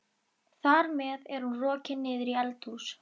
Þar með er hún rokin niður í eldhús.